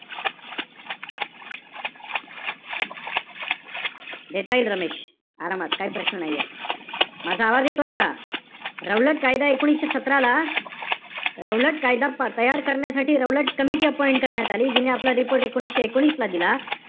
देता येईल रमेश. आरामात काई प्रश्न नाहीये. माझा आवाज येतोय का? रौलट कायदा एकोणीशे सतरा ला~ रौलट कायदा तयार करण्यासाठी, राऊळात कमिटी appoint करण्यात आली. जिने आपला report एकोणीशे एकोणीस ला दिला.